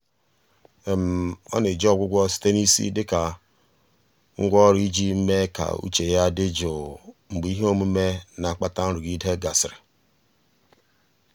ọ na-eji ọgwụgwọ site na isi dịka ngwá ọrụ iji mee ka uche ya dị jụụ mgbe ihe omume na-akpata nrụgide gasịrị.